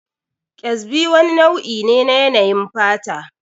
Ƙyazbi wani nau'i ne na yanayin fata